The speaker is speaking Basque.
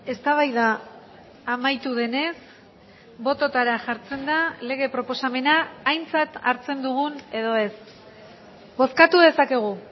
eztabaida amaitu denez bototara jartzen da lege proposamena aintzat hartzen dugun edo ez bozkatu dezakegu